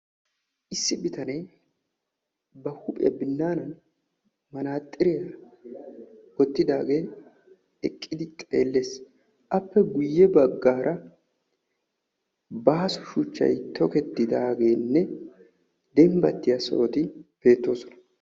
issi bitanee ba huuphiya binaanan manaxxiriya wottidaagee eqqidi xeellees. appe guyye baggaara baaso shuchchay toketidaagenne dembbatiya sohoti beettoosona.